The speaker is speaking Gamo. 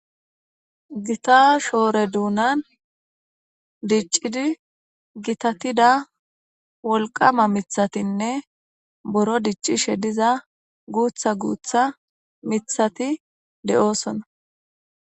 gita shoore duunan diccidi gitatida wolqama mithatinne boro diccishe diza guutha guutha mithati de7oosona